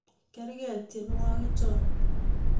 Kerke tienwogi chon